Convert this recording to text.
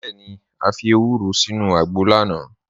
Bẹẹni, à fi èwúrò sínu àgbọ̀ lánà.